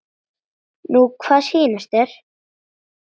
Nú hvað sýnist þér.